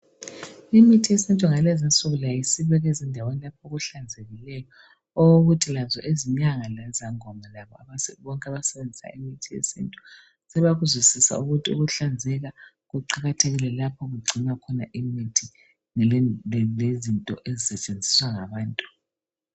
Imithi yesintu ngale zinsuku layo isibekwa ezindaweni lapho okuhlanzekileyo okokuthi lazo izinyanga lezangoma labo bonke abasebenzisa imithi yesintu sebakuzwisisa ukuthi ukuhlanzeka kuqakathekile lapho okugcinwa khona imithi lezinto ezisetshenziswa ngabantu.